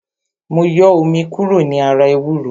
Mo yọ omi kúrò ní ara ewúro